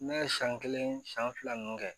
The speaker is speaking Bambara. Ne ye san kelen san fila ninnu kɛ